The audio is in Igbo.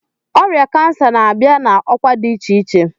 Ọrịa cancer na-abịa na ọkwa dị iche iche.